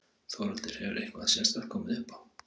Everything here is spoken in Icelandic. Þórhildur: Hefur eitthvað sérstakt komið upp á?